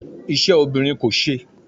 Ise obinrin ko se